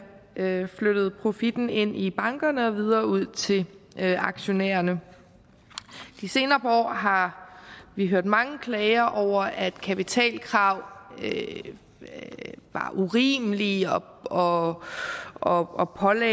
have flyttet profitten ind i bankerne og videre ud til aktionærerne de senere par år har vi hørt mange klager over at kapitalkrav var urimelige og og pålagde